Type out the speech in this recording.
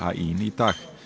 í dag